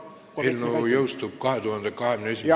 Eelnõu jõustub 2021. aastal.